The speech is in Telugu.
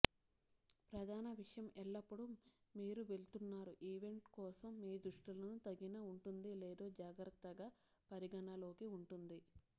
ప్రధాన విషయం ఎల్లప్పుడూ మీరు వెళ్తున్నారు ఈవెంట్ కోసం మీ దుస్తులను తగిన ఉంటుంది లేదో జాగ్రత్తగా పరిగణలోకి ఉంటుంది